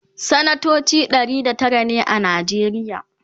sanatoci Ɗari da Tara ne a najeriya